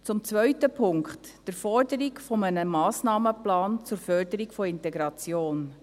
Zum zweiten Punkt, der Forderung nach einem Massnahmenplan zur Förderung der Integration.